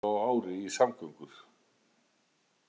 Milljarður á ári í samgöngur